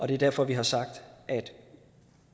det er derfor vi har sagt at